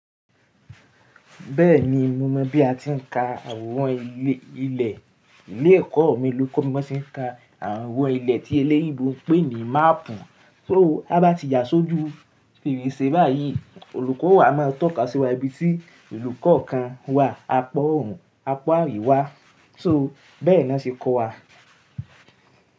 Bẹ́ẹ̀ni mo mọ̀ bí a ti ń ka àworan ilẹ̀. Ilé ẹ̀kọ́ mi ló kọ́ mi bó ti ń ka àwọran ilẹ̀ tí eléyinbo ń pè ní máàpù. Só há bá ti ya sójú fèrèsé báyìí, olùkọ́ wa máa tọ́ka sí wa ibi tí ìlú kọ̀ọ̀kan wà, àpọ̀òrùn, àpọ̀ àríwá. So bẹ́ẹ̀ ni wọ́n ṣe kọ́ wa.